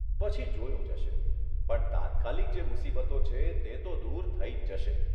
પછી જોયું જશે, પણ તાત્કાલિક જે મુસીબતો છે તે તો દૂર થઇ જ જશે.